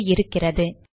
இதோ இருக்கிறது